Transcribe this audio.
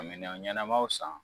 Minan ɲɛnamaw san.